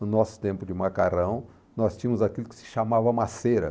No nosso tempo de macarrão, nós tínhamos aquilo que se chamava maceira.